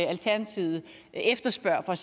der